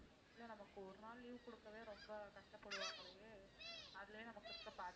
இல்ல நமக்கு ஒரு நாள் leave கொடுக்கவே ரொம்ப கஷ்டப்படுவாங்களே அதிலே நமக்கு இருக்கிற